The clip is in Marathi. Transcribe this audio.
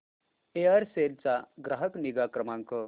एअरसेल चा ग्राहक निगा क्रमांक